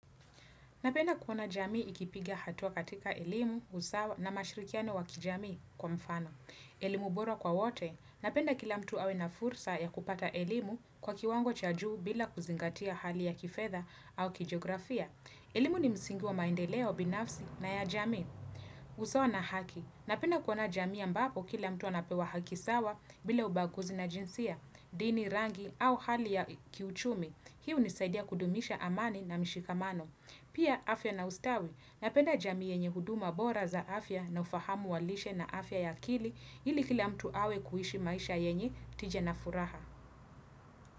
Napenda kuona jamii ikipiga hatua katika elimu, usawa na mashirikiano wa kijamii kwa mfano. Elimu bora kwa wote. Napenda kila mtu awe na fursa ya kupata elimu kwa kiwango cha juu bila kuzingatia hali ya kifedha au kijiografia. Elimu ni msingi wa maendeleo binafsi na ya jamii. Usawa na haki. Napenda kuona jamii ambapo kila mtu anapewa haki sawa bila ubaguzi na jinsia, dini rangi au hali ya kiuchumi. Hii hunisaidia kudumisha amani na mshikamano. Pia afya na ustawi napenda jamii yenye huduma bora za afya na ufahamu wa lishe na afya ya akili ili kila mtu awe kuishi maisha yenye tija na furaha.